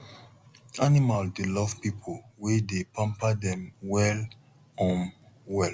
animal dey love people wey dey pamper dem well um well